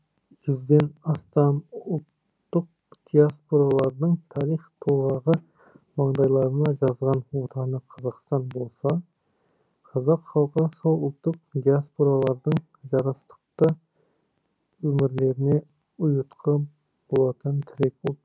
жүзден астам ұлттық диаспоралардың тарих толғағы маңдайларына жазған отаны қазақстан болса қазақ халқы сол ұлттық диаспоралардың жарастықты өмірлеріне ұйытқы болатын тірек ұлт